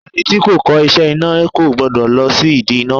Ẹni tí kò kọ́ iṣẹ́ iná kò gbọ́dọ̀ lọ sí ìdí iná.